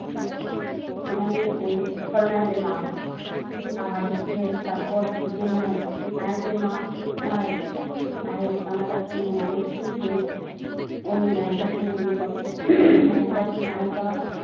সেখানে ওই খলনায়কের মা হয় আর হচ্ছে তারপর যে নায়ক নায়কের মা মারা যায় নায়ক অনাথ আশ্রমে মানুষ সে ওই নায়িকার সঙ্গে বিয়ে করে নায়িকা।